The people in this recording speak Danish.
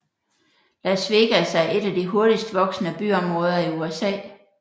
Las Vegas er et af de hurtigst voksende byområder i USA